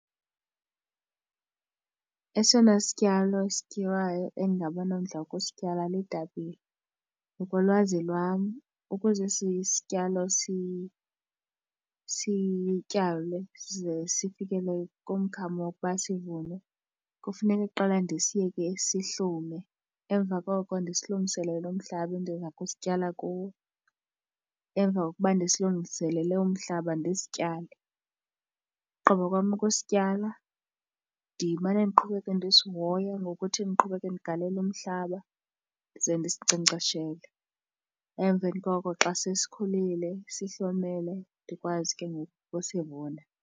Esona sityalo esityiwayo endingaba nomdla wokusityala litapile. Ngokolwazi lwam ukuze esi sityalo sityalwe size sifikele kumkhamo wokuba sivunwe kufuneka kuqala ndisiyeke sihlume. Emva koko ndisilungiselele umhlaba endiza kusityala kuwo. Emva kokuba ndisilungiselele umhlaba ndisityale. Ugqiba kwam ukusityala ndimane ndiqhubeka ndisihoya ngokuthi ndiqhubeke ndigalele umhlaba ndize ndisinkcenkceshele. Emveni koko xa sesikhulile sihlomele ndikwazi ke ngoku ukusivuna.